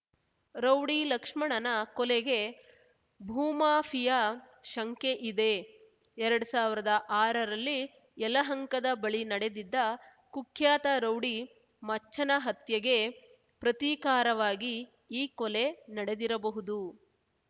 rowdy ಲಕ್ಷ್ಮಣನ ಕೊಲೆಗೆ ಭೂಮಾಫಿಯಾ ಶಂಕೆ ಇದೆ ಎರಡ್ ಸಾವಿರ್ದಾ ಆರರಲ್ಲಿ ಯಲಹಂಕದ ಬಳಿ ನಡೆದಿದ್ದ ಕುಖ್ಯಾತ ರೌಡಿ ಮಚ್ಚನ ಹತ್ಯೆಗೆ ಪ್ರತೀಕಾರವಾಗಿ ಈ ಕೊಲೆ ನಡೆದಿರಬಹುದು